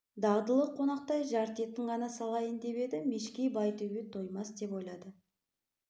дағдылы қонақтай жарты етін ғана салайын деп еді мешкей байтөбет тоймас деп ойлады